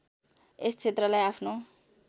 यस क्षेत्रलाई आफ्नो